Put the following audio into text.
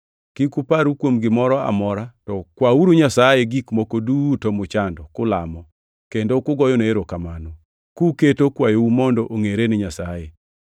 Kik uparru kuom gimoro amora, to kwauru Nyasaye gik moko duto muchando, kulamo, kendo kugoyone erokamano, kuketo kwayou mondo ongʼere ni Nyasaye.